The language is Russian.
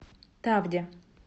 тавде